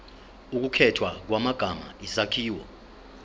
ukukhethwa kwamagama isakhiwo